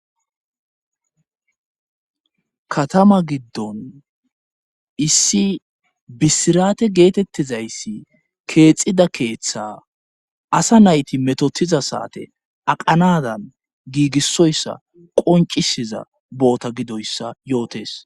katama giddon issi bisirate geetettizayssi keexida keeththa asa nayti metotiza saate aqanadan giigissoyssa qoncisiza boota gidoyssa yootes